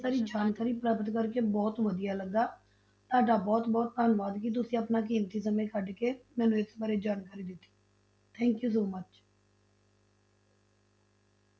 ਸਾਰੀ ਜਾਣਕਾਰੀ ਪ੍ਰਾਪਤ ਕਰਕੇ ਬਹੁਤ ਵਧੀਆ ਲੱਗਾ, ਤੁਹਾਡਾ ਬਹੁਤ ਬਹੁਤ ਧੰਨਵਾਦ ਕਿ ਤੁਸੀਂ ਆਪਣਾ ਕੀਮਤੀ ਸਮੇਂ ਕੱਢ ਕੇ ਮੈਨੂੰ ਇਸ ਬਾਰੇ ਜਾਣਕਾਰੀ ਦਿੱਤੀ thank you so much